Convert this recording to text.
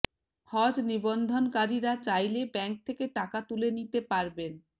হজ নিবন্ধনকারীরা চাইলে ব্যাংক থেকে টাকা তুলে নিতে পারবেন